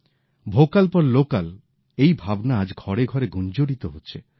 vocal for local এই ভাবনা আজ ঘরে ঘরে গুঞ্জরিত হচ্ছে